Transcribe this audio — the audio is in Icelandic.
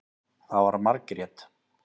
Það var Margrét.